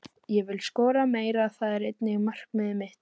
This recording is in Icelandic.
Ég vil skora meira, það er einnig markmiðið mitt.